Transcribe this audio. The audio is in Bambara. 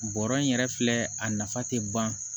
Bɔrɔ in yɛrɛ filɛ a nafa tɛ ban